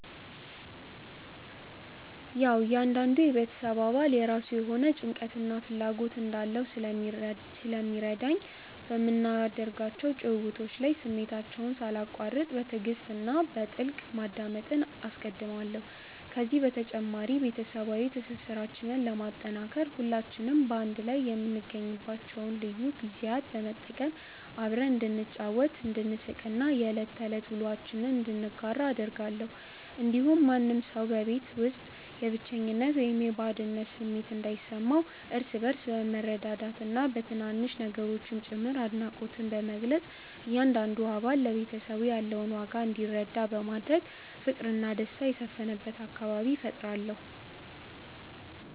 ያዉ እያንዳንዱ የቤተሰብ አባል የራሱ የሆነ ጭንቀትና ፍላጎት እንዳለው ስለሚረዳኝ፣ በምናደርጋቸው ጭውውቶች ላይ ስሜታቸውን ሳላቋርጥ በትዕግስት እና በጥልቀት ማዳመጥን አስቀድማለሁ። ከዚህ በተጨማሪ፣ ቤተሰባዊ ትስስራችንን ለማጠናከር ሁላችንም በአንድ ላይ የምንገኝባቸውን ልዩ ጊዜያት በመጠቀም አብረን እንድንጫወት፣ እንድንሳቅ እና የዕለት ተዕለት ውሎአችንን እንድንጋራ አደርጋለሁ። እንዲሁም ማንም ሰው በቤት ውስጥ የብቸኝነት ወይም የባዕድነት ስሜት እንዳይሰማው፣ እርስ በእርስ በመረዳዳትና በትናንሽ ነገሮችም ጭምር አድናቆትን በመግለጽ እያንዳንዱ አባል ለቤተሰቡ ያለውን ዋጋ እንዲረዳ በማድረግ ፍቅርና ደስታ የሰፈነበት አካባቢ እፈጥራለሁ።